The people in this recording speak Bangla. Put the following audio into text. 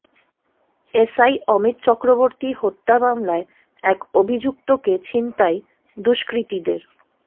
এসআই অমিত চক্রবর্তী হত্যা মামলায় এক অভিযুক্তকে ছিনতাই দুষ্কৃতীদের